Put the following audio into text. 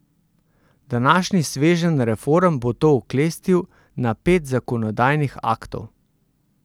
Današnji sveženj reform bo to oklestil na pet zakonodajnih aktov.